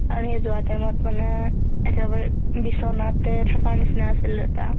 তাৰ সেই যোৱা time ত মানে একেবাৰে বিচনাতে থাকাৰ নিচিনা আছিল দেউতা